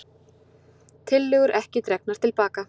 Tillögurnar ekki dregnar til baka